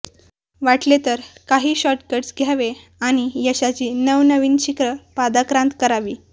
वाटले तर काही शॉर्टकट्स घ्यावे आणि यशाची नवनवीन शिखरं पादाक्रांत करावी